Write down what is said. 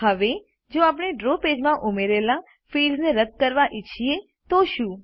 હવે જો આપણે ડ્રો પેજમાં ઉમેરેલા ફિલ્ડ્સને રદ કરવા ઈચ્છીએ તો શું